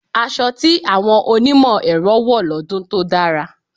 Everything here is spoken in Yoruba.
Asọ tí àwọn onímọ̀ ẹ̀rọ wọ̀ lọ́dún tó dára.